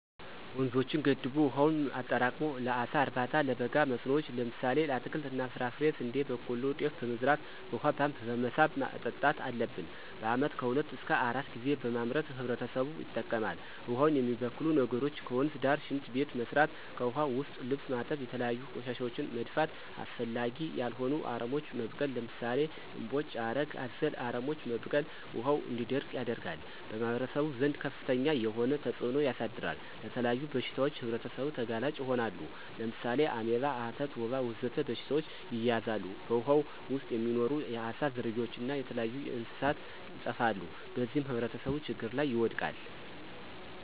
ወንዞችን ገድቦ ዉሀውን አጠራቅሞ ለአሳ እርባታ፣ ለበጋ መስኖዎች ለምሳሌ ለአትክልት እና ፍራፍሬ፣ ስንዴ፣ በቆሎ፣ ጤፍ በመዝራት በውሃ ፓምፕ በመሳብ ማጠጣት አለብን። በአመት ከሁለት እሰከ አራት ጊዜ በማምረት ህብረተሰቡ ይጠቀማል። ውሃውን የሚበክሉ ነገሮች ከወንዝ ዳር ሽንት ቤት መስራት። ከዉሀ ዉስጥ ልብስ ማጠብ፣ የተለያዩ ቆሻሻወችን መድፋት፣ አስፈላጊ ያልሆኑ አረሞች መብቀል ለምሳሌ እምቦጭ፣ ሀረግ አዘል አረሞች መብቀል ውሀው እንዲደርቅ ያደርጋል። በማህበረሰቡ ዘንድ ከፍተኛ የሆነ ተፅእኖ ያሳድራል። ለተለያዩ በሽታዎች ህብረተሰቡ ተጋላጭ ይሆናሉ። ለምሳሌ አሜባ፣ አተት፣ ወባ ወዘተ በሽታዎች ይያዛሉ። በውሃው ዉስጥ የሚኖሩ የአሳ ዝርያዎች እና የተለያዩ እንስሳት ይጠፋሉ። በዚህም ህብረተሰቡ ችግር ላይ ይወድቃል።